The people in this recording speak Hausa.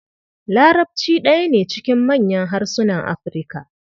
Larabci ɗaya ne cikin manyan harsunan Afirka.